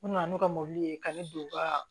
U nana n'u ka mɔbili ye ka ne don u ka